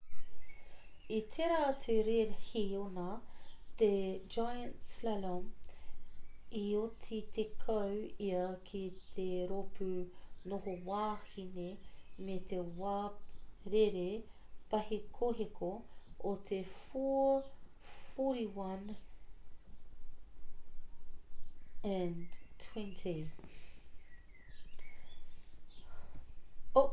i tērā atu rēhi ōna te giant slalom i oti tekau ia ki te rōpū noho wāhine me te wā rere pāhekoheko o te 4:41.20 e 2:11.60 meneti pōturi iho i te toa a claudia loesch nō ateria ā e 1:09.02 meneti pōturi iho i te hunga i oti tuaiwa a gyongyi dani nō hanekari